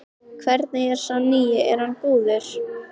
Hvernig er sá nýi, er hann góður?